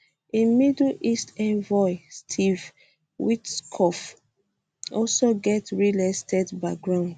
im middle east envoy steve witkoff also get real estate background